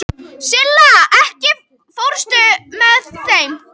Silla, ekki fórstu með þeim?